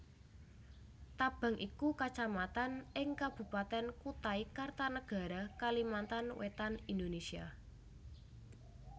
Tabang iku Kacamatan ing Kabupatèn Kutai Kartanegara Kalimantan Wétan Indonésia